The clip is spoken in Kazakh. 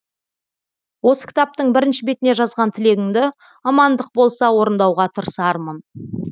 осы кітаптың бірінші бетіне жазған тілегіңді амандық болса орындауға тырысармын